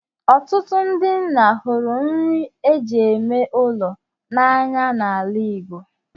“Ọtụtụ ndị nna hụrụ nri e ji eme ụlọ n’anya n’ala Igbo